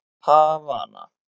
Havana